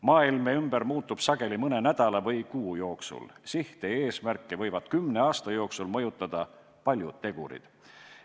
Maailm meie ümber muutub sageli mõne nädala või kuu jooksul, sihte ja eesmärke võivad kümne aasta jooksul mõjutada paljud tegurid.